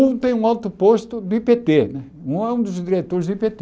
Um tem um alto posto do í pê tê né, um é um dos diretores do i